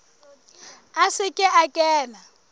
a se ke a kena